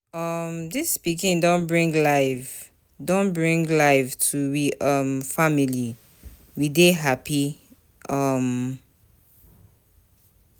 um Dis pikin don bring life don bring life to we um family, we dey hapi. um